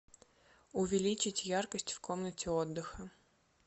увеличить яркость в комнате отдыха